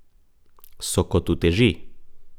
So kot uteži.